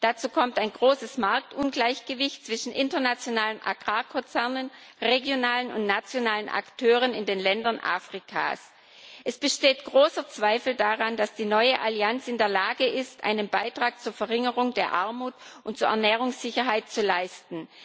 Dazu kommt ein großes Marktungleichgewicht zwischen internationalen Agrarkonzernen, regionalen und nationalen Akteuren in den Ländern Afrikas. Es bestehen große Zweifel daran, dass die neue Allianz in der Lage ist, einen Beitrag zur Verringerung der Armut und zur Ernährungssicherheit zu leisten.